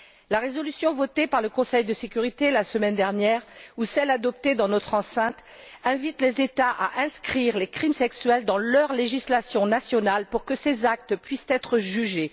La résolution votée par le Conseil de sécurité la semaine dernière, ou celle adoptée dans notre enceinte, invite les États à inscrire les crimes sexuels dans leur législation nationale pour que ces actes puissent être jugés.